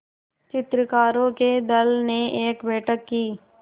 चित्रकारों के दल ने एक बैठक की